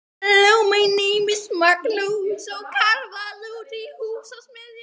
Bekki í kennslustofur: Jón Magnússon og Kjarval, húsgagnasmiðir.